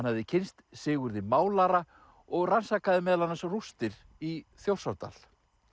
hafði kynnst Sigurði málara og rannsakaði meðal annars rústir í Þjórsárdal